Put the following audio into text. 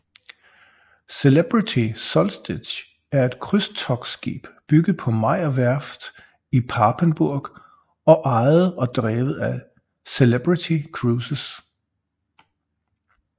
Celebrity Solstice er et krydstogtskib bygget på Meyer Werft i Papenburg og ejet og drevet af Celebrity Cruises